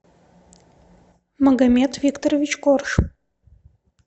магомед викторович корж